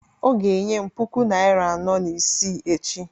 ọ ga-enye m puku naịra anọ na isii echi